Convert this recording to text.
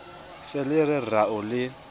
se le re rao le